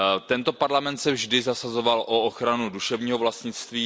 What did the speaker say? Tento Parlament se vždy zasazoval o ochranu duševního vlastnictví.